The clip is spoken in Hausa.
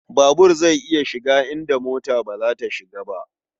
Babur zai iya shiga inda mota ba ta shiga.